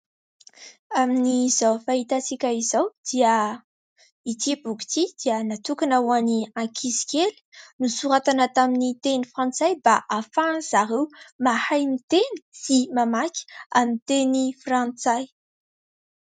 Amin'izao fahitantsika izao dia ity boky ity dia natokona ho an'ny ankizy kely. Nosoratana tamin'ny teny frantsay mba hahafahan'izy ireo mahay miteny sy mamaky amin'ny teny frantsay.